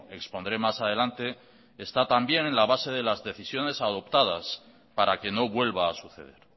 expondré más adelante está también en la base de las decisiones adoptadas para que no vuelva a suceder